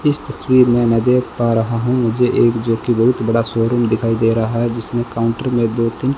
इस तस्वीर में मैं देख पा रहा हूं मुझे एक जो कि बहुत बड़ा शोरूम दिखाई दे रहा है जिसमें काउंटर में दो तीन --